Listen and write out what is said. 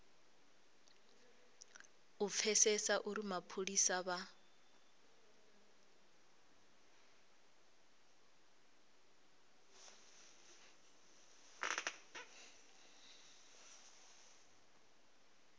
u pfesesa uri mapholisa vha